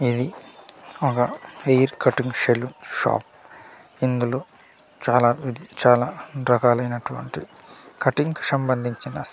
ఇది ఒగ hair cutting saloon shop ఇందులో చాలా-చాలా రకాలైనటువంటి కటింగ్ కు సంబందించిన --